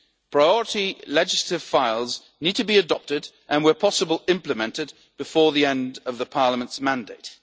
to deliver. Priority legislative files need to be adopted and, where possible, implemented before the end of Parliament's